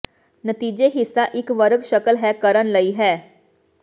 ਨਤੀਜੇ ਹਿੱਸਾ ਇੱਕ ਵਰਗ ਸ਼ਕਲ ਹੈ ਕਰਨ ਲਈ ਹੈ